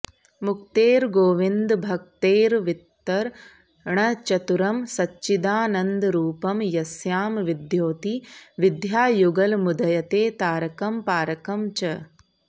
मुक्तेर्गोविन्दभक्तेर्वितरणचतुरं सच्चिदानन्दरूपं यस्यां विद्योति विद्यायुगलमुदयते तारकं पारकं च